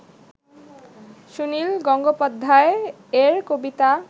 সুনিল গঙ্গোপাধ্যায় এর কবিতা